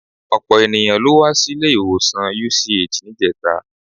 Ọ̀pọ̀ ènìyàn ló wá sí ilé-ìwọ̀sàn UCH níjẹta.